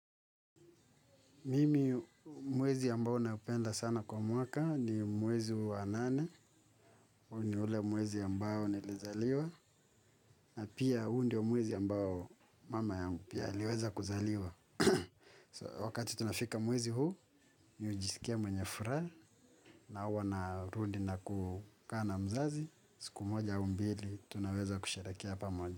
Mimi mwezi ambao naupenda sana kwa mwaka ni mwezi wa nane. Huu ni ule mwezi ambao nilizaliwa. Na pia huu ndio mwezi ambao mama yangu pia aliweza kuzaliwa. Wakati tunafika mwezi huu, mi hujisikia mwenye furaha. Na huwa narudi na kukaa na mzazi. Siku moja au mbili, tunaweza kusherehekea pamoja.